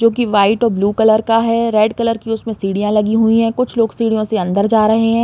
जो कि व्हाइट और ब्लू कलर का है। रेड कलर की उसमें सीढियां लगी हुई हैं। कुछ लोग सीढ़ियों से अंदर जा रहे हैं।